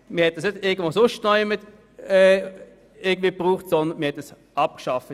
Wir haben diese Stellen abgeschafft und nicht verlagert.